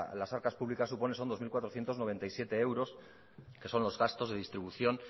las arcas públicas supone son dos mil cuatrocientos noventa y siete euros que son los gastos de distribución